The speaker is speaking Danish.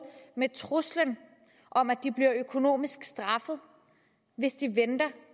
med truslen om at de bliver straffet økonomisk hvis de venter